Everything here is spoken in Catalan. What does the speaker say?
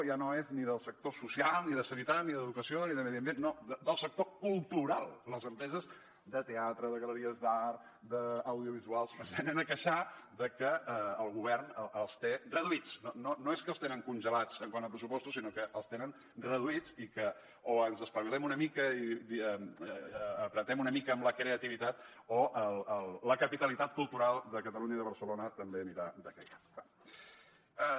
ja no és ni del sector social ni de sanitat ni d’educació ni de medi ambient no del sector cultural les empreses de teatre de galeries d’art d’audiovisuals es venen a queixar de que el govern els té reduïts no és que els tenen congelats quant a pressupostos sinó que els tenen reduïts i que o ens espavilem una mica i apretem una mica amb la creativitat o la capitalitat cultural de catalunya i de barcelona també aniran decaient